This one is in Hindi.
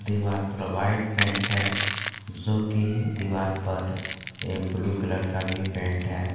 दीवाल पर वाइट पेंट है जोकि दीवाल पर ये ब्ल्यू कलर का भी पेंट है।